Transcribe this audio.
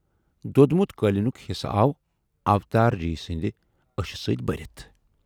"دوٚدمُت قٲلیٖنُک حِصہٕ آو اوتار جی سٕندِ ٲشہِ سۭتۍ بٔرِتھ۔